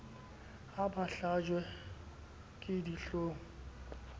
ha ba hlajiwe ke dihloong